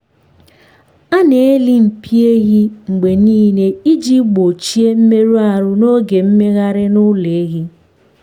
a na-alị mpi ehi mgbe niile iji gbochie mmerụ ahụ n’oge mmegharị n’ụlọ ehi.